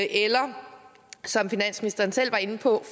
eller som finansministeren selv var inde på